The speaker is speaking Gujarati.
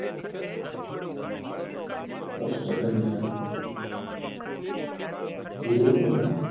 કષ્ટભંજન દેવ ના